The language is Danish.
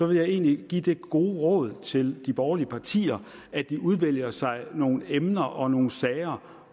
vil jeg egentlig give det gode råd til de borgerlige partier at de udvælger sig nogle emner og nogle sager